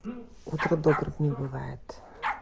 утро добрым не бывает